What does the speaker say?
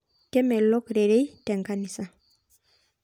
Kemelok rerei tenkanisa